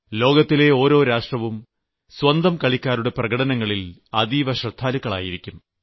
ലോകത്തെ ഓരോ രാഷ്ട്രവും സ്വന്തം കളിക്കാരുടെ പ്രകടനങ്ങളിൽ അതീവ ശ്രദ്ധാലുക്കളായിരിക്കും